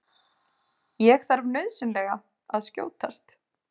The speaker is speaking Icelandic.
Ég þarf nauðsynlega að skjótast.